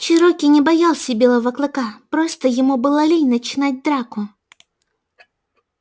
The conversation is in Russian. чероки не боялся белого клыка просто ему было лень начинать драку